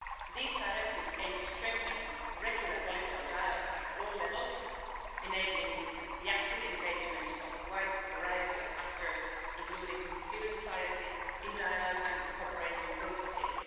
These directives aim to strengthen regular political dialogue at all levels, enabling the active engagement of a wide variety of actors, including civil society, in dialogue and cooperation processes.